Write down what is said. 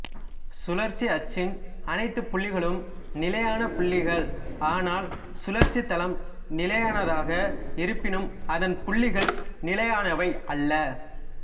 சுழற்சி அச்சின் அனைத்துப் புள்ளிகளும் நிலையான புள்ளிகள் ஆனால் சுழற்சி தளம் நிலையானதாக இருப்பினும் அதன் புள்ளிகள் நிலையானவை அல்ல